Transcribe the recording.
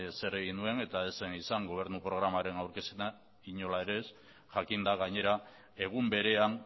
zer egin nuen eta ez zen izan gobernu programaren aurkezpena inola ere ez jakinda gainera egun berean